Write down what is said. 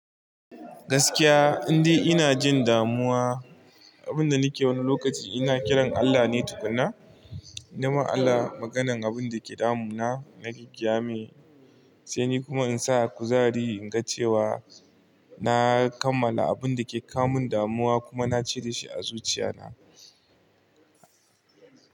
Gaskiya, in dai ina jin damuwa, abin da nake wani lokaci ina kiran Allah ne tukuna. Na ma Allah maganar abin da ke damuna, na gagayamai, sai ni kuma in sa kuzari in ga cewa na kammala abin da ke kamun damuwa kuma na cire shi a zuciya na.